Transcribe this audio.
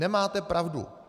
Nemáte pravdu.